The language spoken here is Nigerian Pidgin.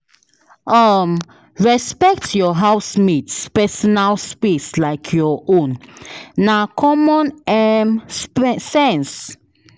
um Respect your housemate’s personal space like your own; na common um sense.